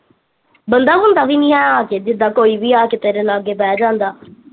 ਬੰਦਾ ਬੁੰਦਾ ਵੀ ਨੀ ਹੈ ਆ ਕੇ ਜਿਦਾਂ ਕੋਈ ਵੀ ਆ ਕੇ ਤੇਰੇ ਲਾਗੇ ਬਹਿ ਜਾਂਦਾ